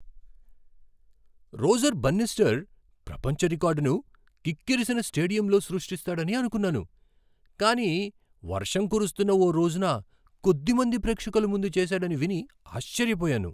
Roger Bannister ప్రపంచ రికార్డును కిక్కిరిసిన స్టేడియంలో సృష్టిస్తాడని అనుకున్నాను, కానీ వర్షం కురుస్తున్న ఓ రోజున కొద్ది మంది ప్రేక్షకుల ముందు చేసాడని విని ఆశ్చర్యపోయాను.